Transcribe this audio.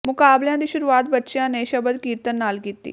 ਮੁਕਾਬਲਿਆਂ ਦੀ ਸ਼ੁਰੂਆਤ ਬੱਚਿਆਂ ਨੇ ਸ਼ਬਦ ਕੀਰਤਨ ਨਾਲ ਕੀਤੀ